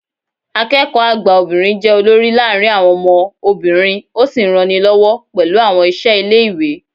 Akẹ́kọ̀ọ́ àgbà obìnrin jẹ́ olórí láàárín àwọn ọmọ obìnrin ó sì ń ranilọ́wọ́ pẹ̀lú àwọn iṣẹ́ ilé ìwé